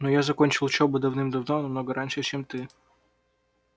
но я закончил учёбу давным давно намного раньше чем ты